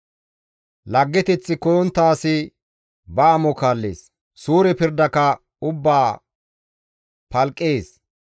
Laggeteth koyontta asi ba amo kaallees; suure pirdaka ubbaa palqqees.